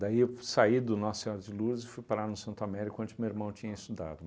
Daí eu saí do Nossa Senhora de Lourdes e fui parar no Santo Américo, onde meu irmão tinha estudado.